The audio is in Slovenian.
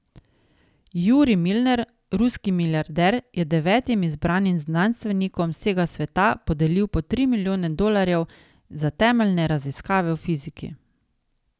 Jurij Milner, ruski milijarder, je devetim izbranim znanstvenikom z vsega sveta podelil po tri milijone dolarjev za temeljne raziskave v fiziki.